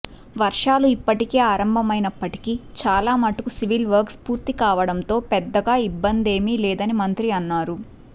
వర్షాలు ఇప్పటికే ఆరంభమైనప్పటికీ చాలా మటుకు సివిల్ వర్క్స్ పూర్తి కావడంతో పెద్దగా ఇబ్బందేమి లేదని మంత్రి అన్నారు